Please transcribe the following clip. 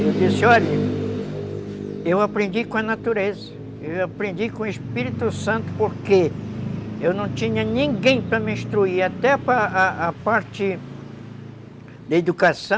Eu disse, olha, eu aprendi com a natureza, eu aprendi com o Espírito Santo porque eu não tinha ninguém para me instruir, até para a parte da educação,